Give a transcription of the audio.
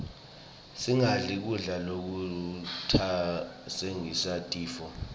singadli kudla lokutasibangela tifo